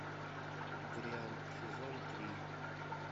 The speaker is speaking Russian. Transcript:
дрянь сезон три